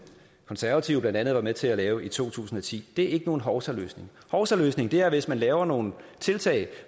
konservative blandt andet var med til at lave i to tusind og ti det er ikke nogen hovsaløsning hovsaløsning er hvis man laver nogle tiltag